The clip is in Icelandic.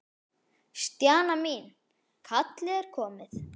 Stjana mín, kallið er komið.